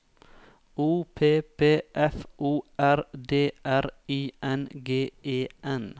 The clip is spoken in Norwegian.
O P P F O R D R I N G E N